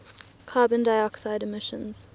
carbon dioxide emissions